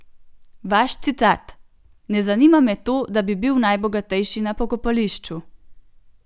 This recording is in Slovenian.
Vaš citat: "Ne zanima me to, da bi bil najbogatejši na pokopališču.